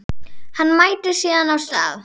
Hann mætir síðan á stað